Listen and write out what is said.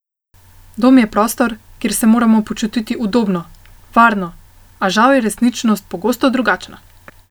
Dom je prostor, kjer se moramo počutiti udobno, varno, a žal je resničnost pogosto drugačna.